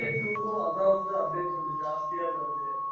Indian two வும் update கொஞ்சம் ஜாஸ்தியா வருது.